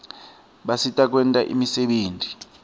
basisita kwenta imisebenti